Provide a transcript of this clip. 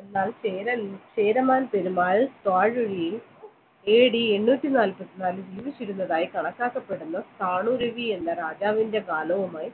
എന്നാൽ ചേരമ ചേരമാൻ പെരുമാൾ AD എണ്ണൂറ്റി നാല്പതിനാൽ ജീവിച്ചിരുന്നതായി കണക്കാക്കപ്പെടുന്നു രവി എന്ന രാജാവിൻറെ കാലവുമായി